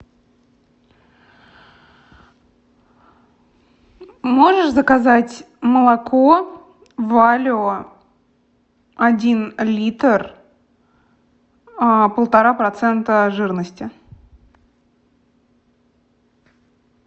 можешь заказать молоко валио один литр полтора процента жирности